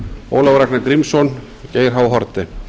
ólafur ragnar grímsson geir h haarde